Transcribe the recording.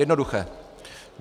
Jednoduché.